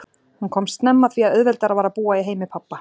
Hún komst snemma að því að auðveldara var að búa í heimi pabba.